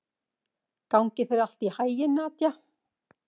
Gangi þér allt í haginn, Nadia.